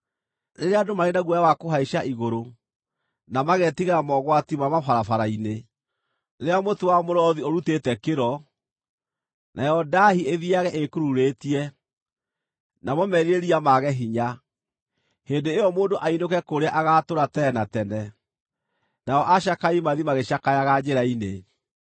rĩrĩa andũ marĩ na guoya wa kũhaica igũrũ, na mageetigĩra mogwati ma mabarabara-inĩ; rĩrĩa mũtĩ wa mũrothi ũrutĩte kĩro, nayo ndaahi ithiiage ĩĩkururĩtie, namo merirĩria mage hinya. Hĩndĩ ĩyo mũndũ ainũke kũrĩa agaatũũra tene na tene, nao acakai mathiĩ magĩcakayaga njĩra-inĩ.